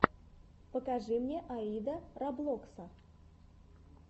покажи мне аида роблокса